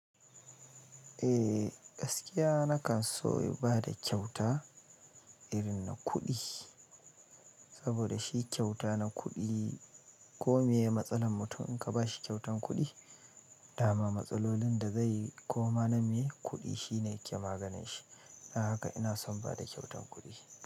Eh, gaskiya na kan so in bar da kyauta irin na kudi, saboda, shi kyauta na kudi ko me matsalan mutum in ka bashi kyautan kuɗi, dama matsalolin da zai yi ko ma na me kuɗi shine yake maganin shi. Na haka ina son bada kyautan kuɗi.